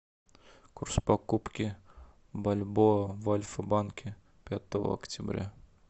курс покупки бальбоа в альфа банке пятого октября